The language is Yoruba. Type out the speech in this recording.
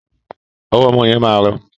Ọwọ ọmọ yẹn ma rọ.